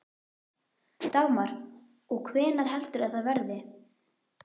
Dagmar: Og hvenær heldurðu að það verði?